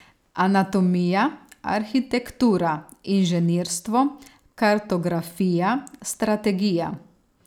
Anatomija, arhitektura, inženirstvo, kartografija, strategija ...